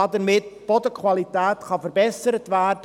Damit kann die Bodenqualität verbessert werden.